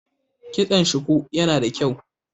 Kitson shuku yana da kyau.